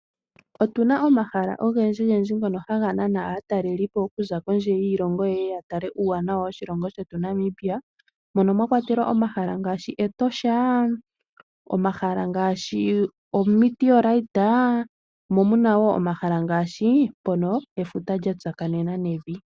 Otu na omahala ogendji gendji ngoka haga nana aatalelipo okuza kondje yiilongo, ye ye ya tale uuwanawa woshilongo shetu Namibia. Mono mwa kwatelwa omahala ngaashi Etosha, omahala mgashi o'meteorite', mo omuna wo omahala ngaashi mpono efuta lya tsakanena nevi.